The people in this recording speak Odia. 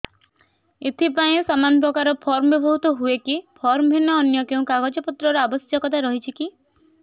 ଏଥିପାଇଁ ସମାନପ୍ରକାର ଫର୍ମ ବ୍ୟବହୃତ ହୂଏକି ଫର୍ମ ଭିନ୍ନ ଅନ୍ୟ କେଉଁ କାଗଜପତ୍ରର ଆବଶ୍ୟକତା ରହିଛିକି